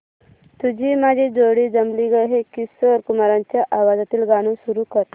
तुझी माझी जोडी जमली गं हे किशोर कुमारांच्या आवाजातील गाणं सुरू कर